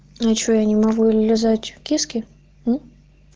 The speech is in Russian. ну что я не могу и лизать киски мм